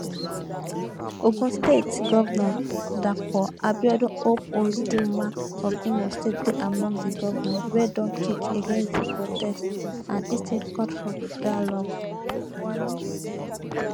ogun state govnor dapo abiodun hope uzodinma of imo state dey among di govnors wey don kick against di protest and instead call for dialogue